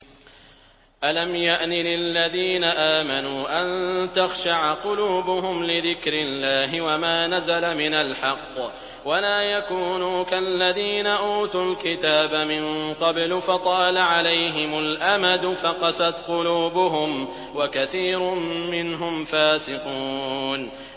۞ أَلَمْ يَأْنِ لِلَّذِينَ آمَنُوا أَن تَخْشَعَ قُلُوبُهُمْ لِذِكْرِ اللَّهِ وَمَا نَزَلَ مِنَ الْحَقِّ وَلَا يَكُونُوا كَالَّذِينَ أُوتُوا الْكِتَابَ مِن قَبْلُ فَطَالَ عَلَيْهِمُ الْأَمَدُ فَقَسَتْ قُلُوبُهُمْ ۖ وَكَثِيرٌ مِّنْهُمْ فَاسِقُونَ